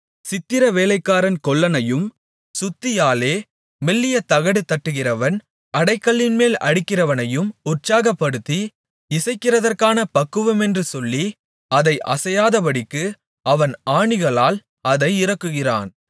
சித்திரவேலைக்காரன் கொல்லனையும் சுத்தியாலே மெல்லிய தகடு தட்டுகிறவன் அடைகல்லின்மேல் அடிக்கிறவனையும் உற்சாகப்படுத்தி இசைக்கிறதற்கான பக்குவமென்று சொல்லி அது அசையாதபடிக்கு அவன் ஆணிகளால் அதை இறுக்குகிறான்